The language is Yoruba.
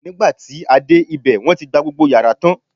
nigba ti a dẹ obe, won ti gba gbogbo yara tan